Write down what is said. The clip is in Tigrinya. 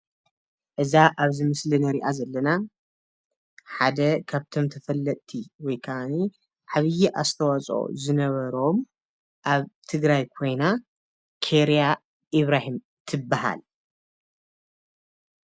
እዛ አብዚ ምስሊ ንሪአ ዘለና ሓደ ካብቶም ተፈለጥቲ ወይ ከዓኒ ዓብይ አስተዋፅኦ ዝነበሮም አብ ትግራይ ኮይና ከይርያ ኢብራሂም ትበሃል።